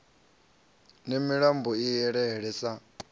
ne milambo i elele sa